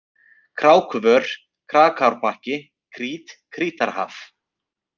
Krákuvör, Krákárbakki, Krít, Krítarhaf